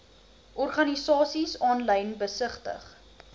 organisasies aanlyn besigtig